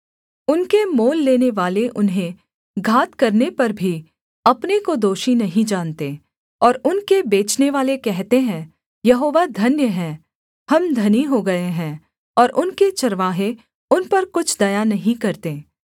उनके मोल लेनेवाले उन्हें घात करने पर भी अपने को दोषी नहीं जानते और उनके बेचनेवाले कहते हैं यहोवा धन्य है हम धनी हो गए हैं और उनके चरवाहे उन पर कुछ दया नहीं करते